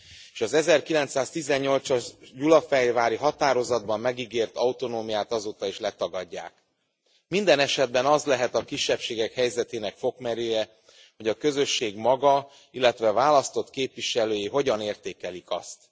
és az 1918 as gyulafehérvári határozatban megígért autonómiát azóta is letagadják. Minden esetben az lehet a kisebbségek helyzetének fokmérője, hogy a közösség maga, illetve a választott képviselői hogyan értékelik azt.